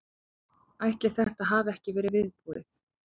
Ætli þetta hafi ekki verið viðbúið.